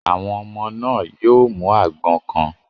Àwọn ọmọ náà yóò àgbọn kan.